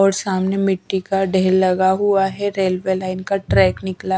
और सामने मिट्टी का ढेर लगा हुआ है रेलवे लाइन का ट्रैक निकला--